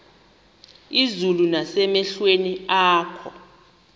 izulu nasemehlweni akho